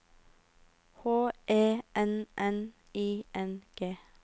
H E N N I N G